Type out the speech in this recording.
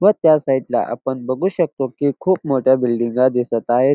व त्या साइड ला आपण बघू शकतो की खूप मोठ्या बिल्डिंगा दिसत आहेत.